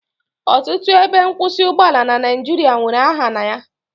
Ọtụtụ ebe nkwụsị ụgbọala na Naijiria nwere aha na ya